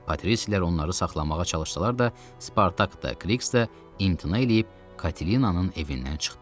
Patrislər onları saxlamağa çalışsalar da, Spartak da, Kriks də imtina eləyib Katelinanın evindən çıxdılar.